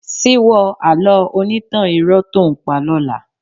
Síwọ́ àlọ́ onítàn irọ́ tó ǹ pa lọ́la.